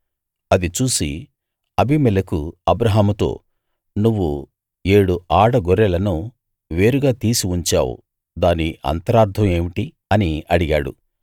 అది చూసి అబీమెలెకు అబ్రాహాముతో నువ్వు ఏడు ఆడ గొర్రెలను వేరుగా తీసి ఉంచావు దాని అంతరార్ధం ఏమిటి అని అడిగాడు